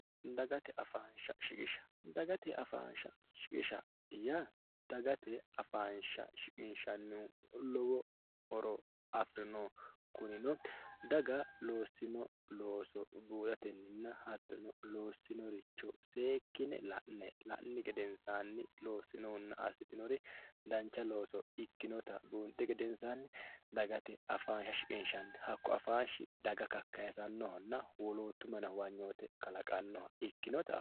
Dagate afansha shiqisha, dagate afansha shiqisha yaa dagate afansha shiqinshanihu lowo horo afirinoho kunino daga loossino looso buuxatenna hattono seekkine la'ne la'nihu gedensanni loosinonna assitinori dancha looso ikkinotta buunxi gedensanni dagate afansha uuyinanni hakku afanshi daga kakkayisanonna woloottahono huwanyoteho ikkinotta.